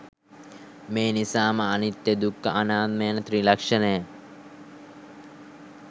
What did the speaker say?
මේ නිසාම අනිත්‍ය, දුක්ඛ, අනාත්ම යන ත්‍රිලක්ෂණය